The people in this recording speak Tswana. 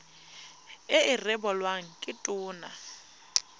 e e rebolwang ke tona